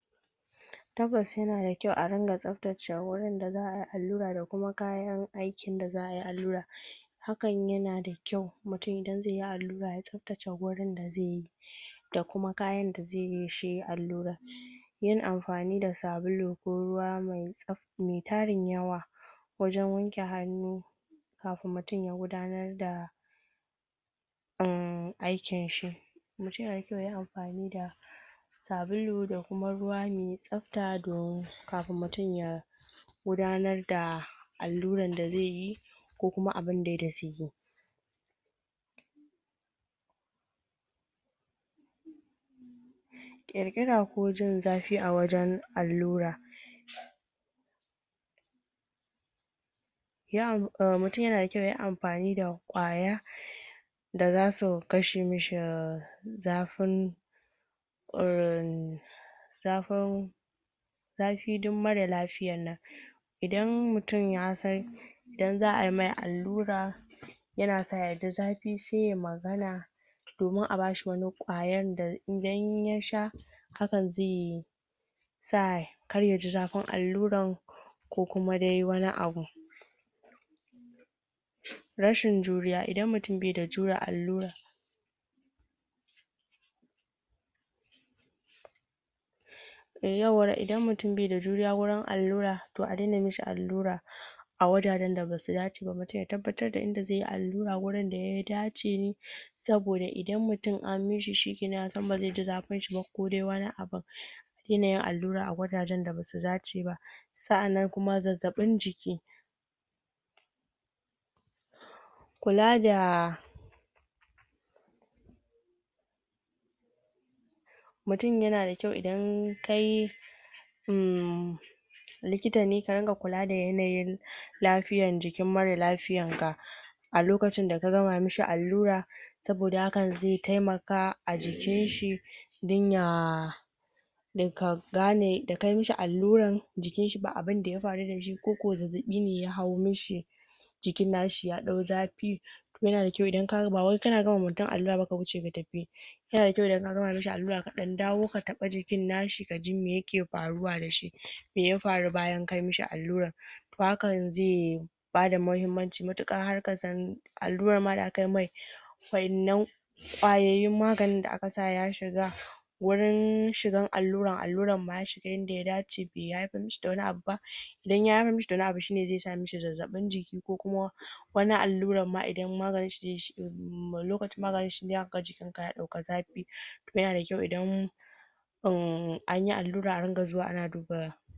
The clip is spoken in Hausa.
tabbas yana da kyau adunga tsabtace wurin da xaayi allura da kuma kayan aikin da xaayi allura hakan yana da kyau mutum idan xaiyi allura ya tsabtace wurin da xaiyi da kuma kayan da xaiyi shi allura yin amfani da sabulu ko ruwa me tsabta me tarin yawa wajen wanke hannu kafin mutum ya gudanar da yin aikinshi mutum yana da kyau yayi amfani da sabulu da kuma ruwa me tsafta kafin mutum ya gudanar da alluran da xaiyi ko kuma abundai da xaiyi???????????????????????????????????????????????????????????? kirkira ko jin xafi a wajen allura????????????????????????????????? mutum yana da kyau yayi amfani da kwaya da xasu kashe mashi zafin?????? zafin zafi duk mara lafiyan nan idan mutum ya san idan xaa mai allura yana son yaji zafi sai yayi magana domin a bashi wani kwayan da idan ya idan ya sha hakan xai sa kar yaji xafin alluran ko kuma dai wani abu????????? rashin juriya idan mutum be da jure allura?????????????????????????????????? yauwara idan mutum be da juriya wurin allura to adena mashi allura a wajajen da basu dace ba mutum ya tabbatar da inda xaiyi allura wurin da ya dace saboda idan mutum an mashi shikenan ya san ba xaiji zafinshi ba ko dai wani abun se ya dena allura a wajajen da basu dace ba sa'annan kuma zazzabin jiki????????????????????????? kula da????????????????????????????????????? mutum yana da kyau idan kai mmmmm likitane ka dunga kula da yanayin lafiyan jikin mara lafiyan ga a lokacin da ka gama mashi allura saboda hakan xai taimaka a jikinshi dan ya da ka gane da kayi mashi alluran jikinshi ba abunda ya faru dashi ko kuma zazzafine ya hau mashi jikin nashi ya dau zafi yana da kyau idan kaga ba wai kana gama ma mutum allura ka wuce ka tafi yana da kyau idan ka gama mashi allura ka dan dawo ka taba jikin nashi me yake faruwa dashi meya faru bayan ka mashi allura ko hakan xai zai bada mahimmanci matuka har kasan alluran ma da akai mai sannan tsayayyun maganin da aka sa ya shiga wurin shigan alluran, alluran baya shiga yadda ya dace ba be haifar mashi da wani abu ba idan ya haifar mashi da wani abu shine xai sa mashi zazzabin jiki ko kuma wani alluran ma idan maganinshi zai shige lokacin maganin ya shiga zaka ga jikinka ya dauki yana da kyau idan idan anyi allura aringa zuwa ana duba